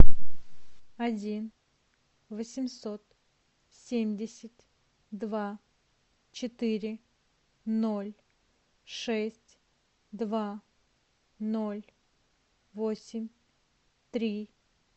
один восемьсот семьдесят два четыре ноль шесть два ноль восемь три